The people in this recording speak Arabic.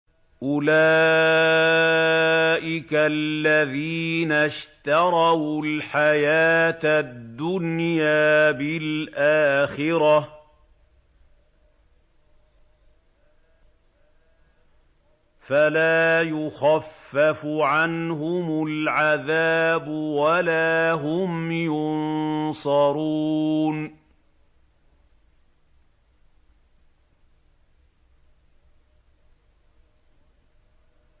أُولَٰئِكَ الَّذِينَ اشْتَرَوُا الْحَيَاةَ الدُّنْيَا بِالْآخِرَةِ ۖ فَلَا يُخَفَّفُ عَنْهُمُ الْعَذَابُ وَلَا هُمْ يُنصَرُونَ